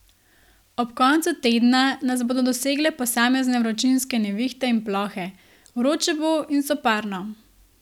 Ob koncu tedna nas bodo dosegle posamezne vročinske nevihte in plohe, vroče bo in soparno.